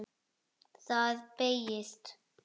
Það beygist: